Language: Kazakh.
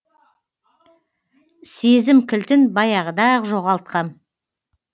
сезім кілтін баяғыда ақ жоғалтқам